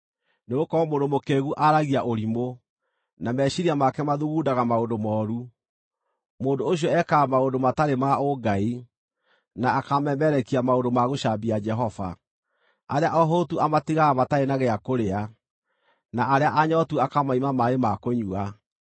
Nĩgũkorwo mũndũ mũkĩĩgu aragia ũrimũ, na meciiria make mathugundaga maũndũ mooru: Mũndũ ũcio ekaga maũndũ matarĩ ma ũ-ngai, na akamemerekia maũndũ ma gũcambia Jehova; arĩa ahũtu amatigaga matarĩ na gĩa kũrĩa, na arĩa anyootu akamaima maaĩ ma kũnyua.